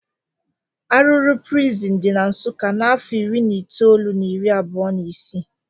Arụrụ prịsịn di na Nsụkka n'afọ ịrị na ịtoolụ na iri abụo na'ịsị